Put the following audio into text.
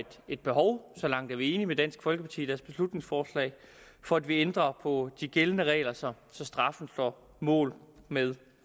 et behov så langt er vi enige med dansk folkeparti i deres beslutningsforslag for at vi ændrer på de gældende regler så så straffen står mål med